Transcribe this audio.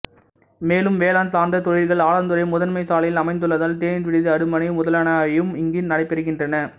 மேலும் வேளாண் சார்த்த தொழில்கள் ஆலாந்துறை முதன்மை சாலையில் அமைந்துள்ளதால் தேநீர் விடுதி அடுமனை முதலானவையும் இங்கு நடைபெறுகின்றன